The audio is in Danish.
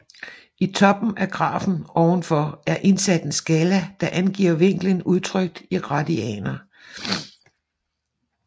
I toppen af grafen ovenfor er indsat en skala der angiver vinklen udtrykt i radianer